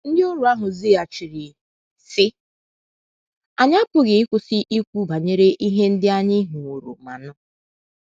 Ndịoru ahụ zaghachiri, sị: “ Anyị apụghị ịkwụsị ikwu banyere ihe ndị anyị hụworo ma nụ. ”